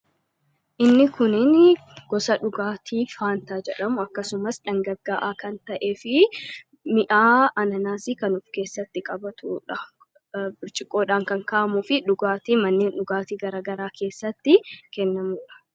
Inni kunnin gosa dhugaatii faantaa jedhamu . Akkasumas dhangagga'aa kan ta'ee fi mi'aa ananaasii kan uf keessatti qabatudha. birciqoodhaan kan ka'amuu fi dhugaatii manneen dhugaatii garagaraa keessatti kennamuudha.